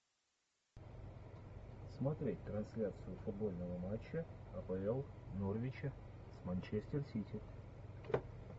смотреть трансляцию футбольного матча апл норвича с манчестер сити